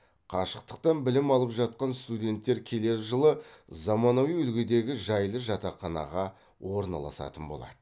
қашықтықтан білім алып жатқан студенттер келер жылы заманауи үлгідегі жайлы жатақханаға орналасатын болады